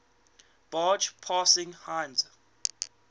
barge passing heinz